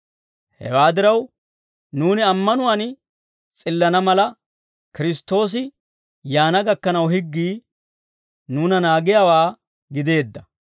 Hewaa diraw, nuuni ammanuwaan s'illana mala, Kiristtoosi yaana gakkanaw higgii nuuna naagiyaawaa gideedda.